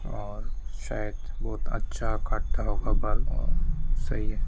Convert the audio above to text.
और शायद बहुत अच्छा काटता होगा बाल सही है।